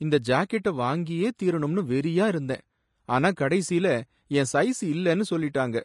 இந்த ஜாக்கெட்ட வாங்கியே தீரணும்னு வெறியா இருந்தேன், ஆனா கடையில என் சைஸ் இல்லனு சொல்லிட்டாங்க.